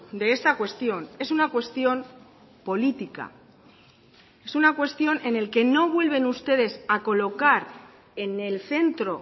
de esta cuestión es una cuestión política es una cuestión en la que no vuelven ustedes a colocar en el centro